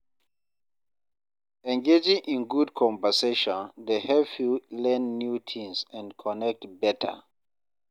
Engaging in good conversation dey help you learn new things and connect better.